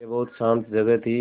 यह बहुत शान्त जगह थी